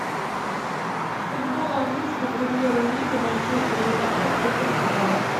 футбол английской премьер лиги манчестер юнайтед тоттенхэм